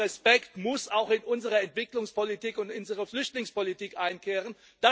Würde und Respekt muss auch in unsere Entwicklungspolitik und in unsere Flüchtlingspolitik einkehren.